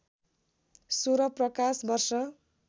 १६ प्रकाश वर्ष